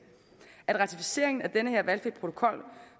at ratificeringen af den her valgfri protokol